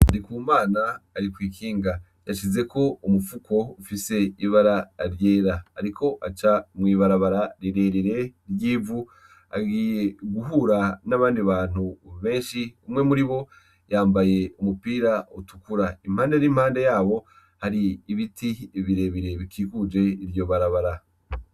Ndikumana arikw'ikinga yashizek' umufuko ufise ibara ryera ,arikw'aca mwibarabara rirerire ry'ivu agiye guhura n'abandi bantu benshi umwe muribo yambaye umupira utukura impande habo har'ibiti birebire bikikuje iryo barabara.